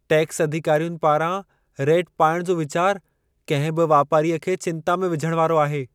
Tax अधिकारियुनि पारां raid पाइण जो वीचार कंहिं बि वापारीअ खे चिंता विझण वारो आहे।